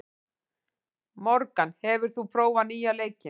Morgan, hefur þú prófað nýja leikinn?